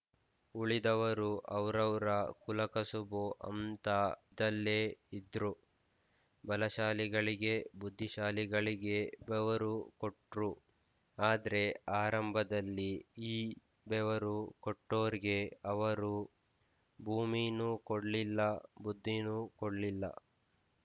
ಉಳಿದವರು ಅವ್ರವ್ರ ಕುಲಕಸುಬು ಅಂತ ಇದ್ದಲ್ಲೇ ಇದ್ರು ಬಲಶಾಲಿಗಳಿಗೆ ಬುದ್ಧಿಶಾಲಿಗಳಿಗೆ ಬೆವರು ಕೊಟ್ರು ಆದ್ರೆ ಆರಂಭದಲ್ಲಿ ಈ ಬೆವರು ಕೊಟ್ಟೋರ್ಗೆ ಅವರು ಭೂಮೀನೂ ಕೊಡ್ಲಿಲ್ಲ ಬುದ್ಧೀನೂ ಕೊಡ್ಲಿಲ್ಲ